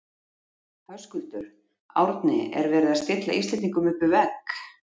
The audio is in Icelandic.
Höskuldur: Árni er verið að stilla Íslendingum upp við vegg?